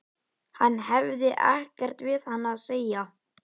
Hann hefði ekkert við hana að segja.